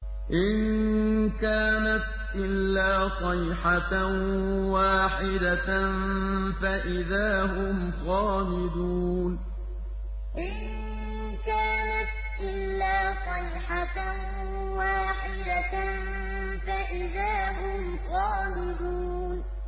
إِن كَانَتْ إِلَّا صَيْحَةً وَاحِدَةً فَإِذَا هُمْ خَامِدُونَ إِن كَانَتْ إِلَّا صَيْحَةً وَاحِدَةً فَإِذَا هُمْ خَامِدُونَ